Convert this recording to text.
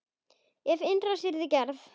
Ef innrás yrði gerð?